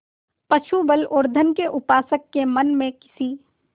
पशुबल और धन के उपासक के मन में किसी